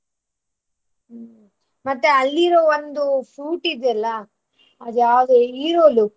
ಮತ್ತೆ ಅಲ್ಲಿರೋ ಒಂದು fruit ಇದ್ಯಲ್ಲಾ ಅದ್ಯಾವ್ದು ಇರೋಲು .